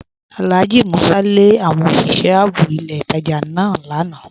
Alhaji Músà lé àwọn osìṣẹ̀ ààbò ilẹ̀ ìtajá náà lànà